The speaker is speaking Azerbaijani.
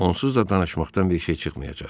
Onsuz da danışmaqdan bir şey çıxmayacaq.